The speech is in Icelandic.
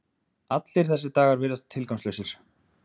Allir þessar dagar virðast tilgangslausir.